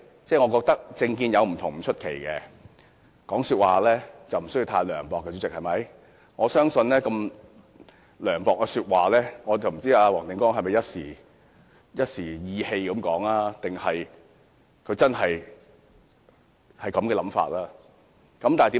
議員政見有不同不奇怪，但說話不用太涼薄，黃定光議員說出如此涼薄的話，我不知道他是一時意氣，還是他真的有這種想法。